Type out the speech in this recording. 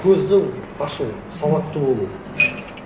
көзді ашу сауатты болу